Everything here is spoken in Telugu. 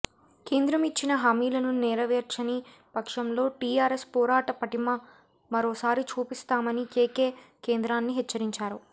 కేంద్రం ఇచ్చిన హామీలను నెరవేర్చని పక్షంలో టిఆర్ఎస్ పోరాట పటిమ మరోసారి చూపిస్తామని కెకె కేంద్రాన్ని హెచ్చరించారు